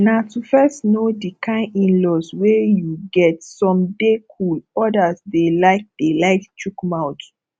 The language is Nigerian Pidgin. na to first know di kind inlaws wey you get some dey cool odas dey like dey like chook mouth